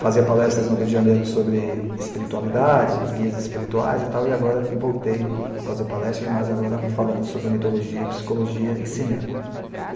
Fazia palestras no Rio de Janeiro sobre espiritualidade, guias espirituais e tal, e agora voltei a fazer palestras, mas agora falando sobre mitologia, psicologia e cinema.